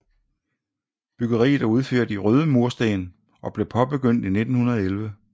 Byggeriet er udført i røde mursten og blev påbegyndt i 1911